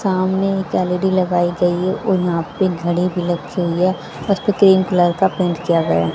सामने एक एल_ई_डी लगाई गई है और यहां पे घड़ी भी रखी हुई है तीन कलर का पेंट किया गया--